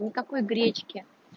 никакой гречки